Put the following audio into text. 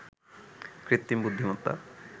কৃত্রিম বুদ্ধিমত্তা